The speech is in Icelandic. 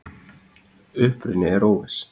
Uppruni er óviss.